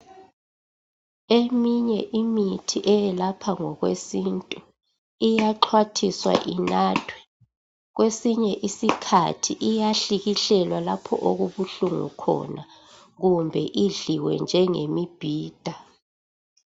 Eminye imithi eyelapha ngokwesintu iyaxhwathiswa inathwe kwesinye isikhathi iyahlikihlelwa laoho okubuhlungu khona kumbe idliwe njengemibhida.